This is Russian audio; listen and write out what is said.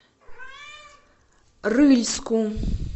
рыльску